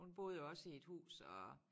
Hun boede jo også i et hus og